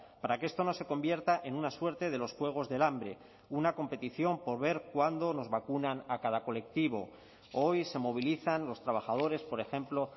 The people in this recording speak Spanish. para que esto no se convierta en una suerte de los juegos del hambre una competición por ver cuándo nos vacunan a cada colectivo hoy se movilizan los trabajadores por ejemplo